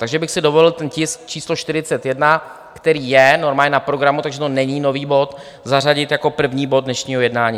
Takže bych si dovolil ten tisk číslo 41, který je normálně na programu, takže to není nový bod, zařadit jako první bod dnešního jednání.